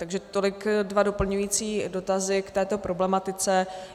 Takže tolik dva doplňující dotazy k této problematice.